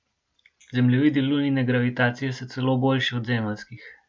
Zemljevidi Lunine gravitacije so celo boljši od zemeljskih.